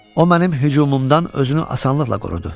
O mənim hücumumdan özünü asanlıqla qorudu.